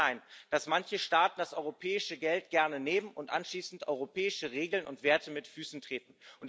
Es kann nicht sein, dass manche Staaten das europäische Geld gerne nehmen und anschließend europäische Regeln und Werte mit Füßen treten.